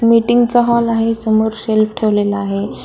Meeting चा hall आहे समोर शेल्फ ठेवलेला आहे.